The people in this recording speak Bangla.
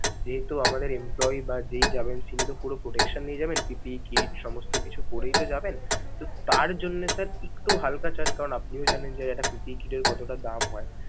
যেহেতু আমাদের empolyee বা যেই যাবেন সে কিন্তু পুরো protection নিয়ে যাবেন PPT kit সমস্ত কিছু পরেই তো যাবেন, তো তার জন্যে sir একটু হাল্কা charge কারণ আপনিও জানেন একটা PPE kit কতটা দাম হয়।